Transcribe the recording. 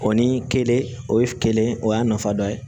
O ni kelen o ye kelen o y'a nafa dɔ ye